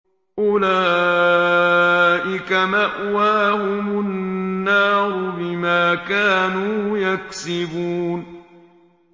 أُولَٰئِكَ مَأْوَاهُمُ النَّارُ بِمَا كَانُوا يَكْسِبُونَ